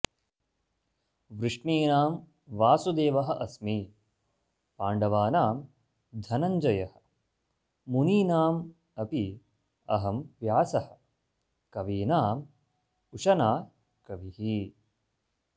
वृष्णीनां वासुदेवः अस्मि पाण्डवानां धनञ्जयः मुनीनाम् अपि अहं व्यासः कवीनाम् उशना कविः